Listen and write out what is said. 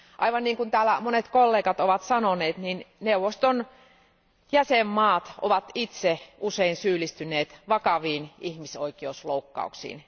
Aivan niin kuin täällä monet kollegat ovat sanoneet, neuvoston jäsenmaat ovat itse usein syyllistyneet vakaviin ihmisoikeusloukkauksiin.